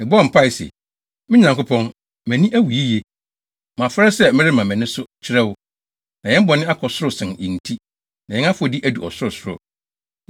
Mebɔɔ mpae se: “Me Nyankopɔn, mʼani awu yiye, na mafɛre sɛ merema mʼani so kyerɛ wo. Na yɛn bɔne akɔ soro sen yɛn ti, na yɛn afɔdi adu ɔsorosoro.